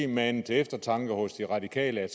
mane til eftertanke hos de radikale at